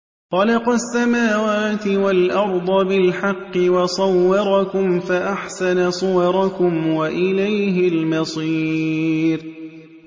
خَلَقَ السَّمَاوَاتِ وَالْأَرْضَ بِالْحَقِّ وَصَوَّرَكُمْ فَأَحْسَنَ صُوَرَكُمْ ۖ وَإِلَيْهِ الْمَصِيرُ